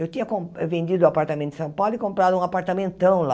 Eu tinha com vendido o apartamento em São Paulo e comprado um apartamentão lá.